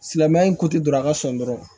Silamɛya in ko ti don a ka sɔn dɔrɔn